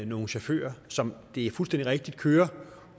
nogle chauffører som og det er fuldstændig rigtigt kører